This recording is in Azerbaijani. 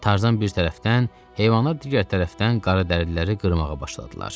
Tarzan bir tərəfdən, heyvanlar digər tərəfdən qaradərililəri qırmağa başladılar.